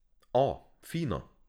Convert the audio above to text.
O, fino!